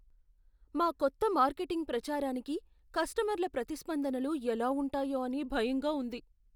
మా కొత్త మార్కెటింగ్ ప్రచారానికి కస్టమర్ల ప్రతిస్పందనలు ఎలా ఉంటాయో అని భయంగా ఉంది.